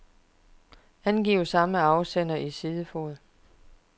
Angiv samme afsender i sidefod.